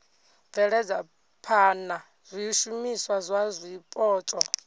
bveledza phana zwishumiswa zwa zwipotso